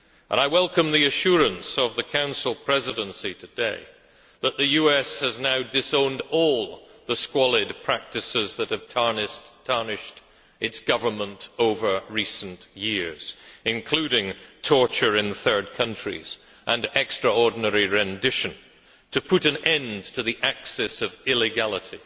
I welcome the assurance of the Council Presidency today that the US has now disowned all the squalid practices that have tarnished its Government over recent years, including torture in third countries and extraordinary rendition, in order to put an end to the axis of illegality.